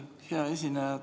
Hea esineja!